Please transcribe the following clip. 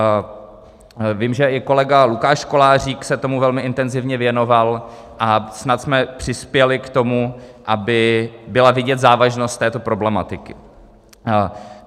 Vím, že i kolega Lukáš Kolářík se tomu velmi intenzivně věnoval, a snad jsme přispěli k tomu, aby byla vidět závažnost této problematiky.